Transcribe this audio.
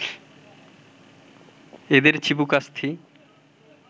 এদের চিবুকাস্থি